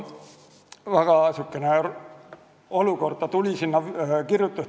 Väga kummaline olukord!